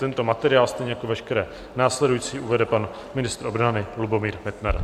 Tento materiál stejně jako veškeré následující uvede pan ministr obrany Lubomír Metnar.